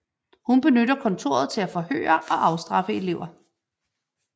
Hun benytter kontoret til at forhøre og afstraffe elever